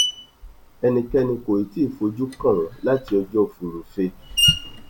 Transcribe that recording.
ẹnikẹni kò tí ì fojú kàn wọn láti ọjọ furuufé